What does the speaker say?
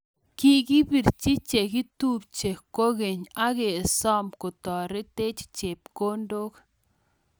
Kikipirchii chekitupchee kokeny agesoom kotoretech chepkondok